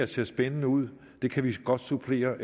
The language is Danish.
ser spændende ud det kan vi godt supplere